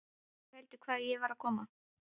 Ekki heldur hvaðan ég var að koma.